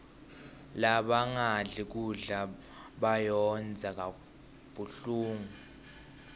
labangadli kudla bayondza kabuhlungu